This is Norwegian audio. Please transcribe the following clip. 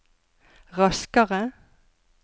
raskere